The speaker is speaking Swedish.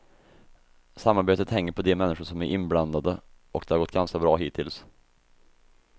Samarbetet hänger på de människor som är inblandade, och det har gått ganska bra hittills.